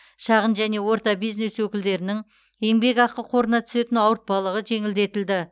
шағын және орта бизнес өкілдерінің еңбекақы қорына түсетін ауыртпалық жеңілдетілді